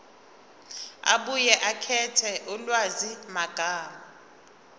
abuye akhethe ulwazimagama